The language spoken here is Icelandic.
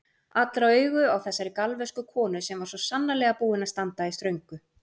Allra augu á þessari galvösku konu sem var svo sannarlega búin að standa í ströngu.